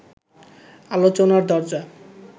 আলোচনার দরজা